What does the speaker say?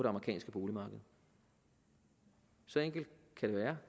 amerikanske boligmarked så enkelt kan det være